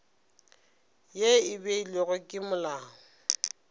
ye e beilwego ke molao